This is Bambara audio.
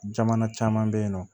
Jamana caman bɛ yen nɔ